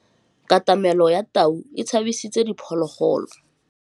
Katamêlô ya tau e tshabisitse diphôlôgôlô.